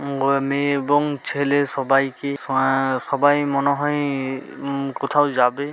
মেয়ে এবং ছেলে সবাইকে সো-এ-এ- সবাই মনে হয় উমমম কোথাও যাবে।